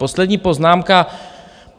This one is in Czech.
Poslední poznámka.